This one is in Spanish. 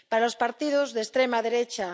Para los partidos de extrema derecha